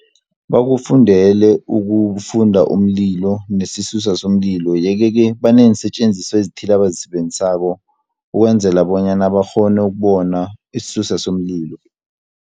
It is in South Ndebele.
Bakufundele ukufunda umlilo nesisusa somlilo. Yeke-ke baneensetjenziswa ezithileko abazisebenzisako, ukwenzela bonyana bakghone ukubona isisusa somlilo.